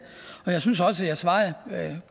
og jeg synes også jeg svarede